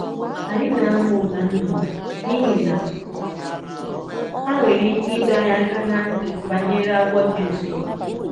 Anyị na-amụ ụda nnụnụ n'ihi na ha nwere ike ịdọ anyị aka ná ntị banyere agwọ dị nso.